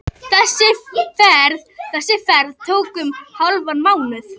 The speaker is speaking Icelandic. Þessi ferð tók um hálfan mánuð.